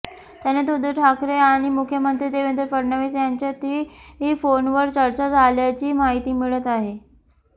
त्यानंतर उद्धव ठाकरे आणि मुख्यमंत्री देवेंद्र फडणवीस यांच्यातही फोनवर चर्चा झाल्याची माहिती मिळत आहे